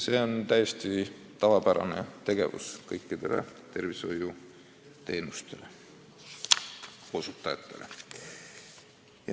See on täiesti tavapärane kõikide tervishoiuteenuste osutajate tegevuses.